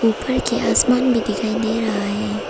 ऊपर के आसमान भी दिखाई दे रहा है।